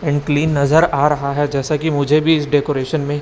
unclean नजर आ रहा है जैसा कि मुझे भी इस डेकोरेशन में--